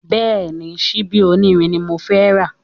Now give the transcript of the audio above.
Bẹ́ẹ̀ni, síbí onírin ni mo fẹ́ rà